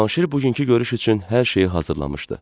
Cavanşir bugünkü görüş üçün hər şeyi hazırlamışdı.